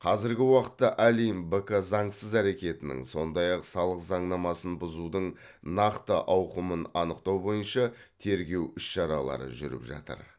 қазіргі уақытта олимп бк заңсыз әрекетінің сондай ақ салық заңнамасын бұзудың нақты ауқымын анықтау бойынша тергеу іс шаралары жүріп жатыр